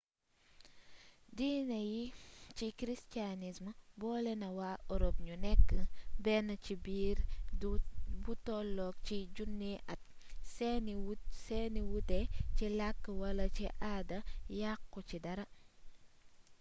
diine jii di christianisme boole na waa europe ñu nekk benn ci diir bu tollu ci junniy at seeni wuute ci làkk wala ci aada yàqu ci dara